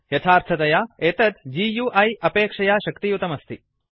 यथार्थतया एतत् गुइ अपेक्षया शक्तियुतम् अस्ति